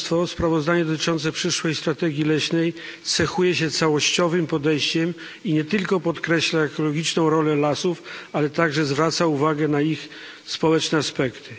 Sprawozdanie dotyczące przyszłej strategii leśnej cechuje się całościowym podejściem i nie tylko podkreśla ekologiczną rolę lasów, ale także zwraca uwagę na ich społeczne aspekty.